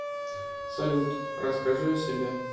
салют расскажи о себе